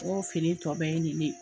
N ko fini tɔ bɛ ye nin ne ye